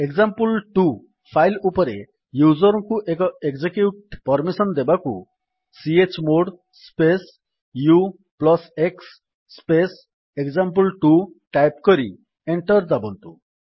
example2 file ଉପରେ user ଙ୍କୁ execute permission ଦେବାକୁ chmod space ux space example two type କରି ଏଣ୍ଟର୍ ଦାବନ୍ତୁ